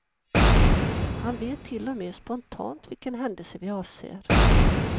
Han vet till och med spontant vilken händelse vi avser.